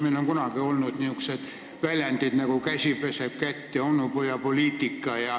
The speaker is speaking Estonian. Meil on kunagi olnud sellised väljendid nagu "käsi peseb kätt" ja "onupojapoliitika".